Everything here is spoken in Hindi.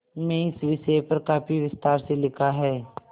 में इस विषय पर काफी विस्तार से लिखा है